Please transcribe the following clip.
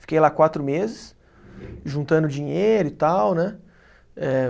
Fiquei lá quatro meses, juntando dinheiro e tal, né? Eh